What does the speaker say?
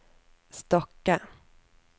Stokke